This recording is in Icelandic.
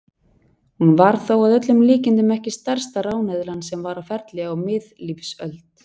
Hún var þó að öllum líkindum ekki stærsta ráneðlan sem var á ferli á miðlífsöld.